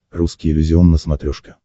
русский иллюзион на смотрешке